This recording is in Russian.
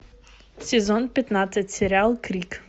сезон пятнадцать сериал крик